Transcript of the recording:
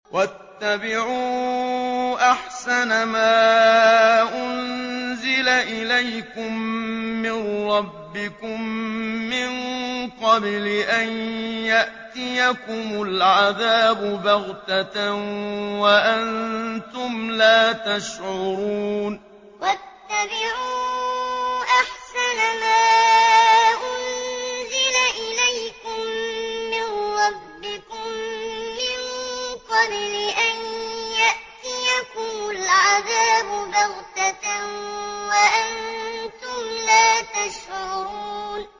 وَاتَّبِعُوا أَحْسَنَ مَا أُنزِلَ إِلَيْكُم مِّن رَّبِّكُم مِّن قَبْلِ أَن يَأْتِيَكُمُ الْعَذَابُ بَغْتَةً وَأَنتُمْ لَا تَشْعُرُونَ وَاتَّبِعُوا أَحْسَنَ مَا أُنزِلَ إِلَيْكُم مِّن رَّبِّكُم مِّن قَبْلِ أَن يَأْتِيَكُمُ الْعَذَابُ بَغْتَةً وَأَنتُمْ لَا تَشْعُرُونَ